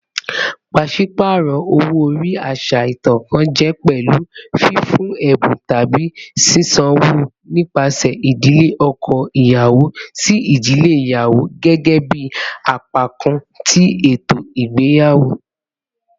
Paṣipaarọ owo-ori, aṣa itan kan, jẹ pẹlu fifun ẹbun tabi sisanwo nipasẹ idile ọkọ iyawo si idile iyawo gẹgẹbi apakan ti eto igbeyawo.